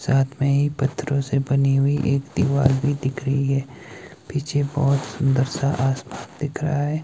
साथ में ही पत्थरों से बनी हुई एक दीवार भी दिख रही है। पीछे बहोत सुंदर सा आसमान दिख रहा है।